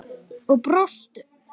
Og brostu.